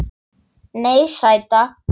Nei, sæta.